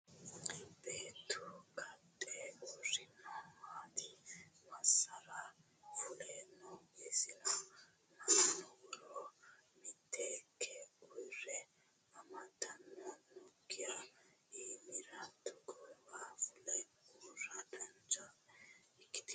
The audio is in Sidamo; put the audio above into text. Buuttu kaxxe uurrinori maati? Massara fule no isino? Mannue woroo miteekke uwiro amadannohu nookkiha iimura togoowa fule uurra dancha ikkitino?